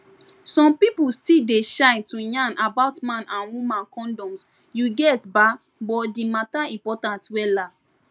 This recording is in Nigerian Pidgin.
some pipu still dey shy to yarn about man and woman condoms you get ba but di matter important wella